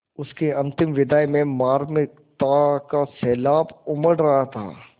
उसकी अंतिम विदाई में मार्मिकता का सैलाब उमड़ रहा था